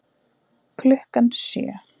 Klukkan sjö